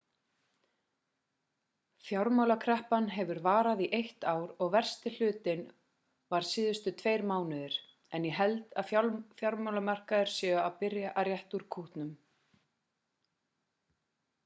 fjármálakreppan hefur varað í eitt ár og versti hlutinn var síðustu tveir mánuðir en ég held að fjármálamarkaðir séu að byrja að rétta út kútnum